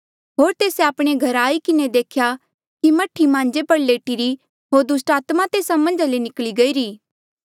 होर तेस्से आपणे घरा आई किन्हें देख्या कि मह्ठी मांजे पर लेटिरी होर दुस्टात्मा तेस्सा मन्झा ले निकली गईरी ई